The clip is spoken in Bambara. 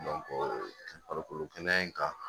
farikolo kɛnɛya in kan